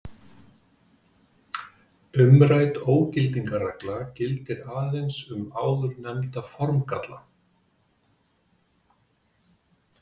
Umrædd ógildingarregla gildir aðeins um áðurnefnda formgalla.